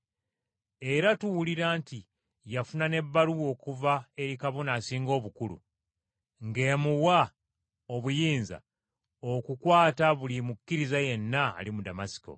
Era tuwulira nti yafuna n’ebbaluwa okuva eri Kabona Asinga Obukulu, ng’emuwa obuyinza okukwata buli mukkiriza yenna ali mu Damasiko!”